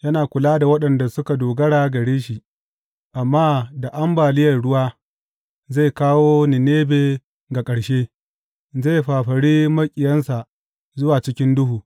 Yana kula da waɗanda suka dogara gare shi, amma da ambaliyar ruwa zai kawo Ninebe ga ƙarshe; zai fafari maƙiyansa zuwa cikin duhu.